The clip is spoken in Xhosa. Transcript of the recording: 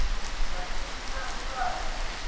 naliphi na ibanjwa